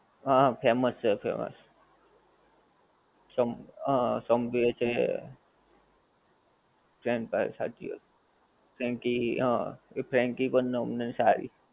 હા famous છે famous. Sub હા સબવે છે. ફ્રેંચ ફ્રાઇસ સાચી વાત. ફ્રેન્કી હં પણ અમને સારી.